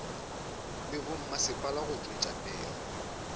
le bommasepala go tšwetša pele